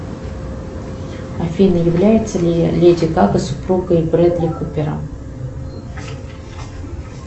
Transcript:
афина является ли леди гага супругой брэдли купера